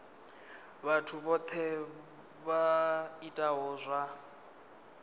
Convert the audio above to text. vhathu vhohe vha itaho zwa